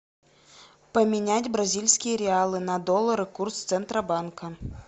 поменять бразильские реалы на доллары курс центробанка